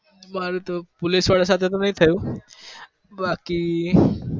મારે તો police વાળા સાથે તો નહિ થયું બાકી